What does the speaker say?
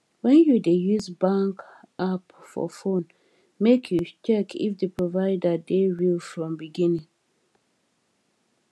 when you dey use bank app for phone make you check if di provider dey real from beginning